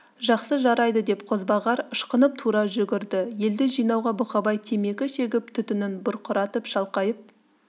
жақсы жарайды деп қозбағар ышқынып тұра жүгірді елді жинауға бұқабай темекі шегіп түтінін бұрқыратып шалқайып